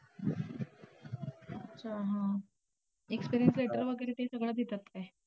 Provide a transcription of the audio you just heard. अच्छा! हा. experience letter वगैरे ते सगळं देतात काय?